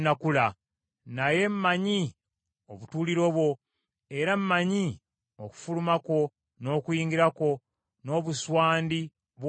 “ ‘Naye mmanyi obutuuliro bwo era mmanyi okufuluma kwo n’okuyingira kwo n’obuswandi bw’ondaga.